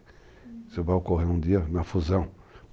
Isso vai ocorrer um dia, uma fusão.